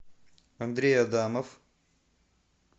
андрей адамов